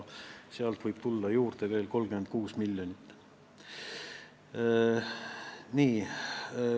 Sealt võib veel 36 miljonit juurde tulla.